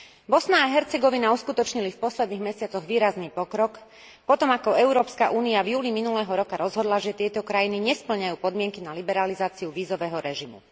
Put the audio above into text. Bosna a Hercegovina uskutočnili v posledných mesiacoch výrazný pokrok potom, ako Európska únia v júli minulého roka rozhodla, že tieto krajiny nespĺňajú podmienky na liberalizáciu vízového režimu.